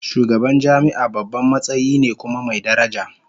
Shugaban jami'a babban matsayi ne kuma mai daraja